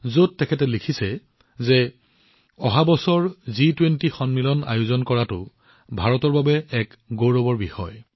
ইয়াত তেওঁ লিখিছে যে অহা বছৰ জি২০ সন্মিলন আয়োজন কৰাটো ভাৰতৰ বাবে গৌৰৱৰ বিষয়